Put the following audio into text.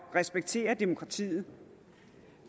respektere demokratiet